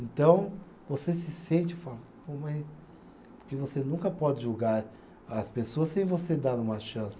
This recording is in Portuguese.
Então, você se sente fala, porque você nunca pode julgar as pessoas sem você dar uma chance.